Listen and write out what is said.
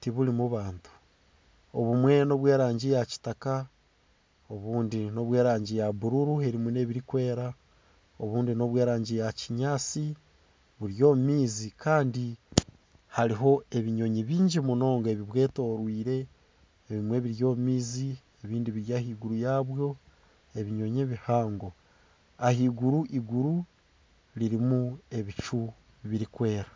tiburimu bantu obumwe n'obw'erangi ya kitaka obundi n'obw'erangi ya buruuru erimu n'ebirikwera obundi n'obw'erangi ya kinyaatsi buri omu maizi kandi hariho ebinyonyi bingi munonga ebubwetoreire, ebimwe biri omu maizi, ebindi biri ahaiguru yabwo, ebinyonyi ebihango ahaiguru iguri ririmu ebicu birikwera.